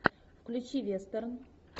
включи вестерн